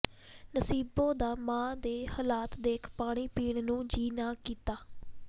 ਨਸੀਬੋ ਦਾ ਮਾਂ ਦੇ ਹਲਾਤ ਦੇਖ ਪਾਣੀ ਪੀਣ ਨੂੰ ਜੀ ਨਾਂ ਕੀਤਾ